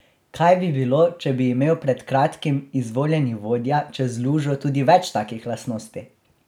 Kaj bi bilo, če bi imel pred kratkim izvoljeni vodja čez lužo, tudi več takih lastnosti?